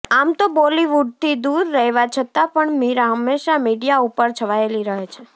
આમ તો બોલીવુડથી દુર રહેવા છતાં પણ મીરા હંમેશા મીડિયા ઉપર છવાયેલી રહે છે